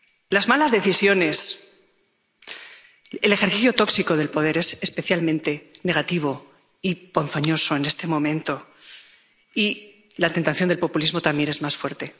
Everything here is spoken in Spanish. Las malas decisiones, el ejercicio tóxico del poder son especialmente negativos y ponzoñosos en este momento, y la tentación del populismo también es más fuerte.